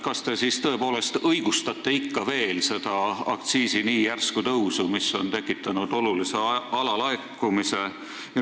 Kas te siis tõepoolest ikka veel õigustate seda nii järsku aktsiisitõusu, mis on tekitanud olulise alalaekumise?